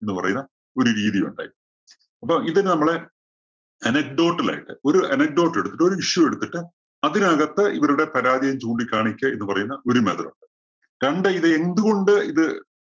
എന്ന് പറയുന്ന ഒരു രീതിയുണ്ടായി. അപ്പോ ഇതിന് നമ്മള് anecdote ലായിട്ട് ഒരു anecdote ല്‍ എടുത്തിട്ട് ഒരു issue എടുത്തിട്ട് അതിനകത്ത് ഇവരുടെ പരാതിയെ ചൂണ്ടിക്കാണിക്കുക എന്ന് പറയുന്ന ഒരു method ഉണ്ട്. രണ്ട് ഇത് എന്തുകൊണ്ട് ഇത്